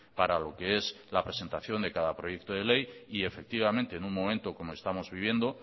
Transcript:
para lo que es la presentación de cada proyecto de ley y efectivamente en un momento como estamos viviendo